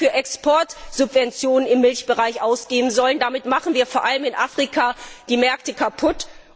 Euro für Exportsubventionen im Milchsektor ausgeben sollten, denn damit machen wir vor allem in Afrika die Märkte kaputt.